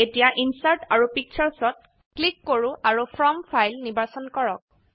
এতিয়া ইনচাৰ্ট আৰু Pictureৰত ক্লিক কৰো আৰু ফ্ৰম ফাইল নিৰ্বাচন কৰক